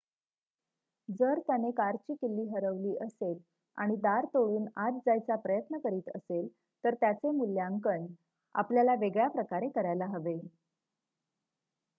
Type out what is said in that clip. जर त्याने कारची किल्ली हरवली असेल आणि दार तोडून आत जायचा प्रयत्न करीत असेल तर त्याचे मुल्यांकन आपल्याला वेगळ्या प्रकारे करायला हवे